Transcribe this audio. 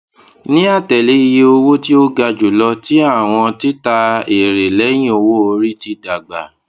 ni atẹle iye owo ti o ga julọ ti awọn tita ere lẹhin owoori ti dagba